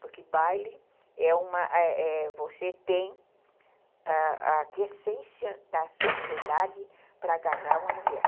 Porque baile é uma... é, é, você tem a aquiescência da sociedade para agarrar uma mulher.